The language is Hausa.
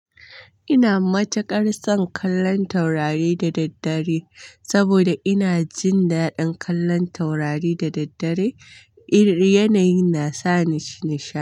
Ina matuƙar son kallon taurari da daddare saboda ina jin daɗin kallon taurari da daddare. Yanayi na sa ni nishaɗi.